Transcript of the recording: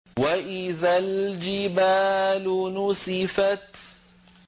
وَإِذَا الْجِبَالُ نُسِفَتْ